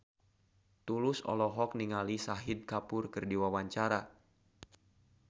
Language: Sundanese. Tulus olohok ningali Shahid Kapoor keur diwawancara